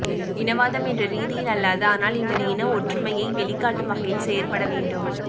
இனவாதம் என்ற ரீதியில் அல்லாது ஆனால் எமது இனஒற்றுமையை வெளிக்காட்டும் வகையில் செயற்பட வேண்டும்